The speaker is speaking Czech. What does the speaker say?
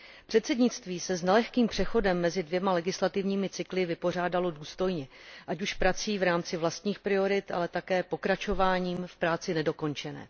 Předsednictví se s nelehkým přechodem mezi dvěma legislativními cykly vypořádalo důstojně, ať už prací v rámci vlastních priorit, ale také pokračováním v práci nedokončené.